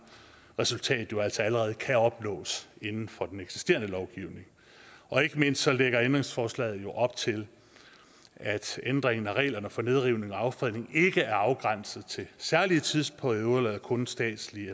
resultat altså allerede kan opnås inden for den eksisterende lovgivning og ikke mindst lægger ændringsforslaget jo op til at ændringen af reglerne for nedrivning og affredning ikke er afgrænset til særlige tidsperioder eller kun statslige